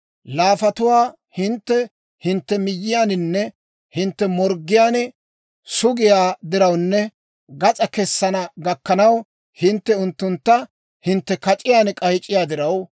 Laafatuwaa hintte hintte miyyiyaaninne hintte morggiyaan sugiyaa dirawunne gas'aa kessana gakkanaw, hintte unttuntta hintte kac'iyaan k'ayc'c'iyaa diraw,